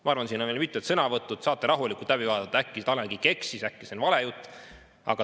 Ma arvan, et siin on veel mitmed sõnavõtud, saate rahulikult läbi vaadata, äkki Tanel Kiik eksis, äkki see on vale jutt.